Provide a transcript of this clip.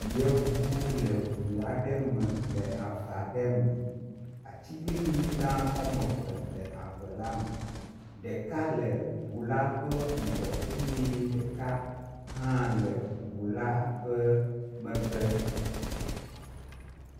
Yevuwo le ʋu aɖe me le avaɖe me, atsiglinyi gã ɔmeve le ave la me, ɖeka le ʋu la ƒe ŋgɔ eyɛ ɖeka hã le ʋula ƒe megbe